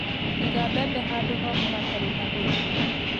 Iga mbembe handũ homũ hatari na oigũ